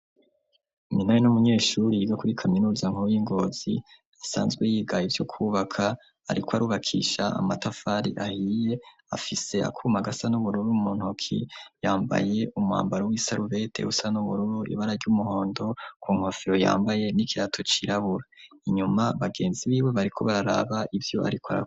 Minani n'umunyeshuri yiga kuri kaminuza nkuru y'ingozi, asanzwe yigayo ivyo kubaka ariko arubakisha amatafari ahiye afise akumagasa n'ubururu rumuntoki yambaye umambaro w'isalubete usa nubururu ibara ry'umuhondo ku nkofero yambaye n'ikirato cirabura inyuma bagenzi biwe bariko bararaba ibyo ariko arakora.